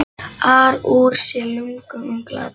ar úr sér lungun um glataða ást.